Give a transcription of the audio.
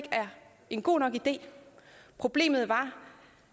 en god nok idé problemet var